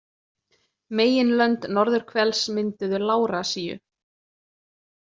Meginlönd norðurhvels mynduðu Lárasíu.